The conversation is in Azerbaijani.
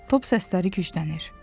Top səsləri güclənir.